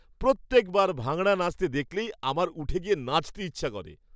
প্রত্যেকবার ভাঙড়া নাচতে দেখলেই আমার উঠে গিয়ে নাচতে ইচ্ছা করে।